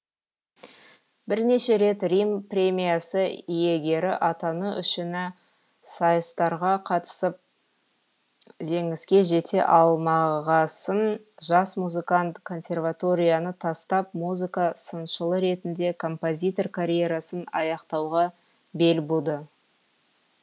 бірнеше рет рим премиясы иегері атану үшіні сайыстарға қатысып жеңіске жете алмағасын жас музыкант консерваторияны тастап музыка сыншылы ретінде композитор карьерасын аяқтауға бел буды